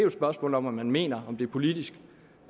et spørgsmål om om man mener om det politisk